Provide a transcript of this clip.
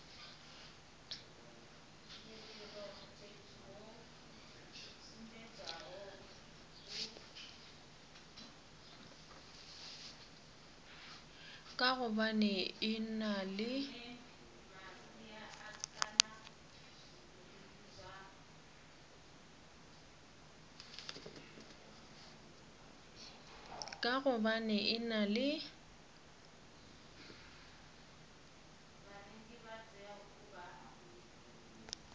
ka gobane e na le